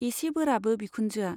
एसे बोराबो बिखुनजोआ।